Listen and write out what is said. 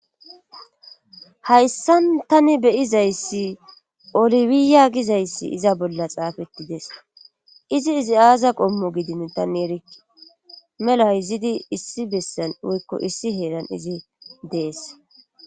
Hayssan tani beyizayssi olifiya gizayssi iza bolla xaafettides izi izi aaza qommo gidin tani erikki melayzidi issi bessan woykko issi heeran izi dees